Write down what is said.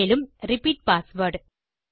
மேலும் repeat password